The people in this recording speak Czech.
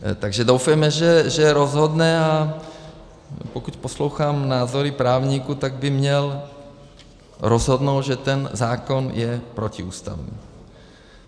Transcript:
Takže doufejme, že rozhodne, a pokud poslouchám názory právníků, tak by měl rozhodnout, že ten zákon je protiústavní.